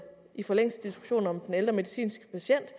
i forlængelse af diskussionen om den ældre medicinske patient